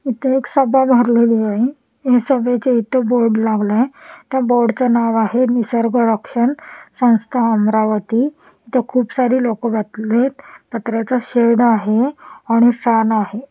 इथे एक सभा भरलेली आहे या सभेचे इथे बोर्ड लागला आहे त्या बोर्ड च नाव आहे निसर्गर रक्षण संस्था अमरावती इथे खूप सारी लोकतलेत पत्र्‍याचा शेड आहे आणि फॅन आहे.